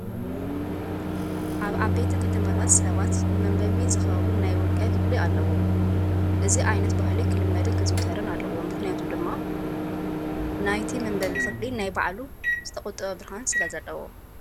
ኣብ ዓበይቲ ከተማታት ሰባት ንመንበቢ ዝኸውን ናይ ውልቀ ክፍሊ ኣለዎም። እዚ ዓይነት ባህሊ ክልመድን ክዝውተርን ኣለዎ። ምክንያቱ ድማ እቲ ናይ መንበቢ ክፍሊ ናይ ባዕሉ ዝተቆጠበ ብርሃን ስለ ዘለዎ።